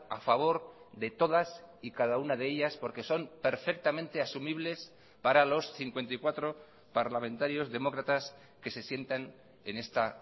a favor de todas y cada una de ellas porque son perfectamente asumibles para los cincuenta y cuatro parlamentarios demócratas que se sientan en esta